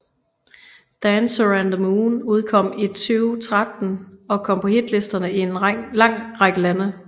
Dancer and the Moon udkom i 2013 og kom på hitlisterne i en lang række lande